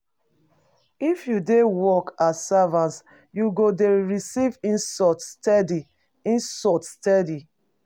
If you dey work as servant, you go dey receive insult steady. insult steady.